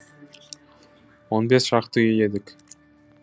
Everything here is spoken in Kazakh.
он бес шақты үй едік